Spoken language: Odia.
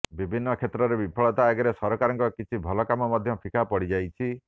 ବିଭିନ୍ନ କ୍ଷେତ୍ରରେ ବିଫଳତା ଆଗରେ ସରକାରଙ୍କ କିଛି ଭଲ କାମ ମଧ୍ୟ ଫିକା ପଡ଼ିଯାଇଛି